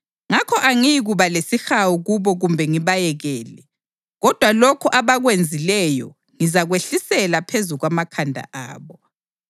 Ngakho angiyikuba lesihawu kubo kumbe ngibayekele, kodwa lokhu abakwenzileyo ngizakwehlisela phezu kwamakhanda abo.”